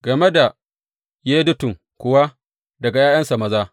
Game da Yedutun kuwa, daga ’ya’yansa maza.